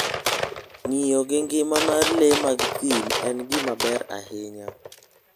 Ng'iyo gi ngima mar le mag thim en gima ber ahinya.